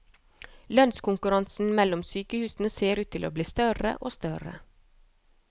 Lønnskonkurransen mellom sykehusene ser ut til å bli større og større.